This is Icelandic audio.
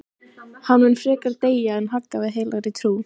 Hann mun frekar deyja en hagga við heilagri trú.